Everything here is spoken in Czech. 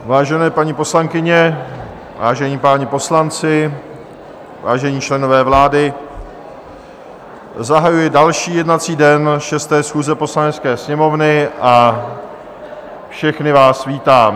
Vážené paní poslankyně, vážení páni poslanci, vážení členové vlády, zahajuji další jednací den 6. schůze Poslanecké sněmovny a všechny vás vítám.